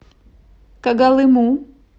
когалыму